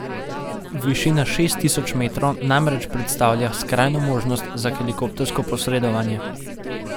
Višina šest tisoč metrov namreč predstavlja skrajno možnost za helikoptersko posredovanje.